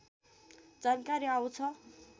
जानकारी आउँछ